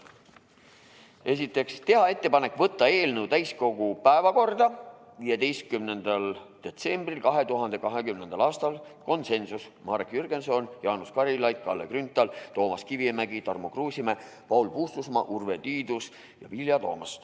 Esiteks, teha ettepanek võtta eelnõu täiskogu päevakorda 15. detsembriks 2020. aastal .